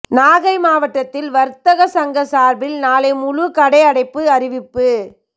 நாகை மாவட்டத்தில் வர்த்தக சங்கம் சார்பில் நாளை முழு கடை அடைப்பு அறிவிப்பு